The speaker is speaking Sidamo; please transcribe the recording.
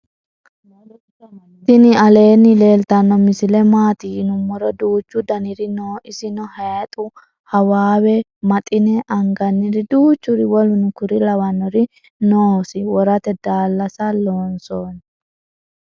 tini aleni leltano misile maati yinumoro duuchu daanniri noo. isino hayixu hawawe mattine. anganiri. duchuri woluno kuri lawanori noo. iso worate dalasa lonsoni.